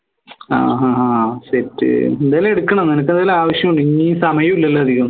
ആഹ് ആഹ് അഹ് set എന്തേലും എടുക്കണോ നിനക്ക് എന്തേലും ആവശ്യണ്ടോ സമയല്ലല്ലോ അധികം